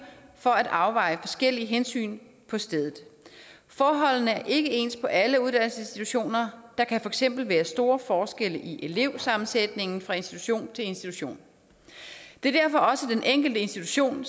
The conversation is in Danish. for at afveje forskellige hensyn på stedet forholdene er ikke ens på alle uddannelsesinstitutioner der kan for eksempel være store forskelle i elevsammensætningen fra institution til institution det er derfor også den enkelte institution